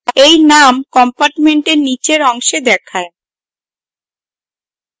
এই name compartment নীচের অংশে দেখায়